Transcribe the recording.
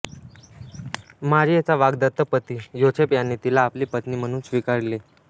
मारीयेचा वाग्दत्त पती योसेफ याने तिला आपली पत्नी म्हणून स्वीकारले